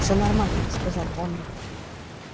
всё нормально сказал он